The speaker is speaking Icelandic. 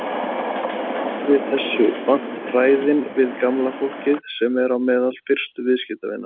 Hún er aldrei þessu vant ræðin við gamla fólkið sem er á meðal fyrstu viðskiptavina.